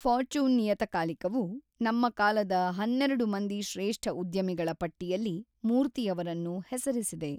Fortune ನಿಯತಕಾಲಿಕವು ನಮ್ಮ ಕಾಲದ ಹನ್ನೆರಡು ಮಂದಿ ಶ್ರೇಷ್ಠ ಉದ್ಯಮಿಗಳ ಪಟ್ಟಿಯಲ್ಲಿ ಮೂರ್ತಿಯವರನ್ನು ಹೆಸರಿಸಿದೆ.